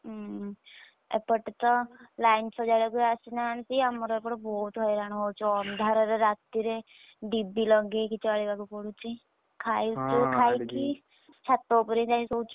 ହୁଁ ଏପଟେତ line ସଜାଡିବାକୁ ଆସିନାହାନ୍ତି, ଆମର ଏପଟେ ବହୁତ ହଇରାଣ ହଉଛୁ, ଅନ୍ଧାରରେ ରା~ ~ତିରେ breath ଡିବି ଲଗେଇକି ଚଳିବାକୁ ପଡୁଛି, ଖାଉଛୁ ଛାତ ଉପରେ ଯାଇଁ ଶୋଉଛୁ